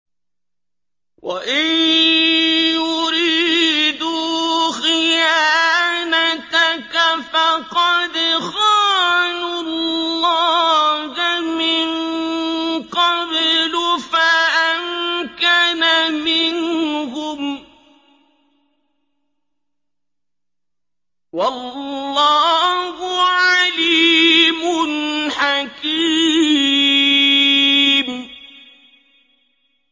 وَإِن يُرِيدُوا خِيَانَتَكَ فَقَدْ خَانُوا اللَّهَ مِن قَبْلُ فَأَمْكَنَ مِنْهُمْ ۗ وَاللَّهُ عَلِيمٌ حَكِيمٌ